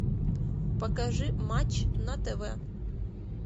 покажи матч на тв